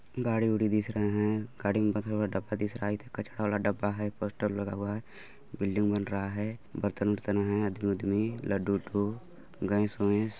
गाड़ी उडी दिख रहा है गाड़ी में बंधा हुआ डब्बा दिख रहा है इधर कचरा वाला डब्बा है पोस्टर लगा हुआ है बिल्डिंग बन रहा है बर्तन वर्तन है आदमी उदमी लड्डू उड्डू गैंस वेंस --